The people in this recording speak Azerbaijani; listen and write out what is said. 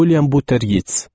William Butler Yeats.